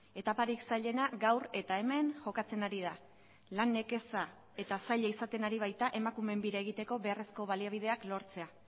etaparik zailena gaur eta hemen jokatzen ari da lan nekeza eta zaila izaten ari baita emakumeen bira egiteko beharrezko baliabideak lortzea